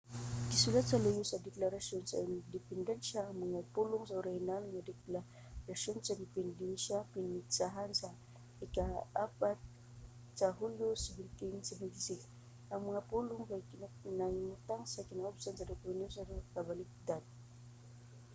gisulat sa luyo sa deklarasyon sa independensya ang mga pulong nga orihinal nga deklarasyon sa independensya pinetsahan sa ika-4 sa hulyo 1776". ang mga pulong kay nahimutang sa kinaubsan sa dokumento nga nakabaligtad